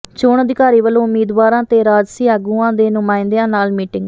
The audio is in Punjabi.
ਚੋਣ ਅਧਿਕਾਰੀ ਵਲੋਂ ਉਮੀਦਵਾਰਾਂ ਤੇ ਰਾਜਸੀ ਆਗੂਆਂ ਦੇ ਨੁਮਾਇੰਦਿਆਂ ਨਾਲ ਮੀਟਿੰਗ